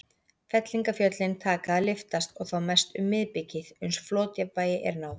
Fellingafjöllin taka að lyftast, og þá mest um miðbikið, uns flotjafnvægi er náð.